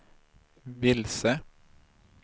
vilse